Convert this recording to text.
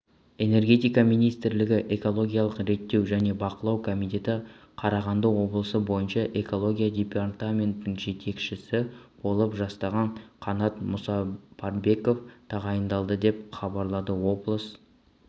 энергетика министрлігі экологиялық реттеу және бақылау комитеті қарағанды облысы бойынша экология департаментінің жетекшісі болып жастағы қанат мұсапарбеков тағайындалды деп хабарлады облыс